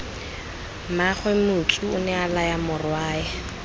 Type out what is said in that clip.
mmaagwe motsu onea laya morwae